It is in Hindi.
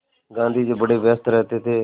गाँधी जी बड़े व्यस्त रहते थे